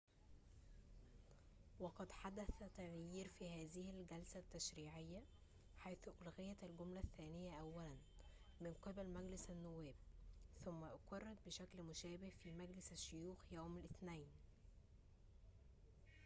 وقد حدث تغيير في هذه الجلسة التشريعيّة حيث أُلغيت الجملة الثّانية أوّلاً من قِبل مجلس النوّاب ثم أُقِرّت بشكل مشابه في مجلس الشّيوخ يوم الاثنين